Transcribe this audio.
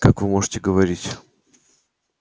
как вы можете говорить